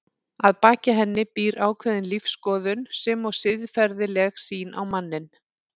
Að baki henni býr ákveðin lífsskoðun sem og siðferðileg sýn á manninn.